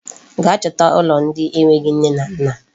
Gaa chọta ụlọ ndị enweghị nne na nna.